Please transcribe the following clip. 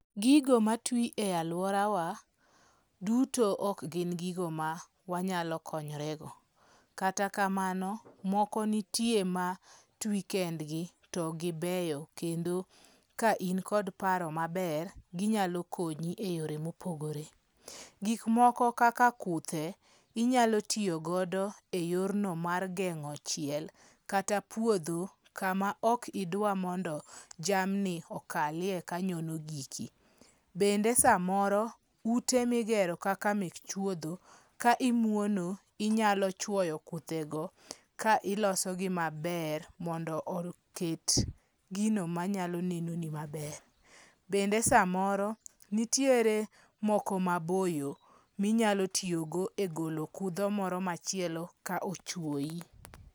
Gigo matwi e aluorawa duto ok gin gigo ma wanyalo konyorego. Kata kamano, moko nitie matwi kendgi to gibeyo kendo ka in kod paro maber, ginyalo konyi eyore mopogore. Gik moko kaka kuthe, inyalo tiyo godo eyorno mar geng'o chiel, kata puodho kama ok idwa mondo jamni okalie kanyono giki. Bende samoro, ute migero kaka mek chuodho, ka imuono inyalo chuoyo kuthego ka ilosogi maber mondo oket gino manyalo neno ni maber. Bende samoro nitiere moko maboyo minyalo tiyogo egolo kudho moro machielo ka ochuoyi.